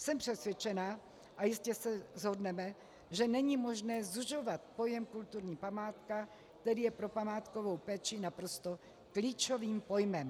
Jsem přesvědčena, a jistě se shodneme, že není možné zužovat pojem kulturní památka, který je pro památkovou péči naprosto klíčovým pojmem.